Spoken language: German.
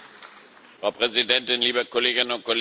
Frau Präsidentin, liebe Kolleginnen und Kollegen!